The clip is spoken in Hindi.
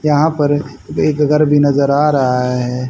यहां पर एक घर भी नजर आ रहा है।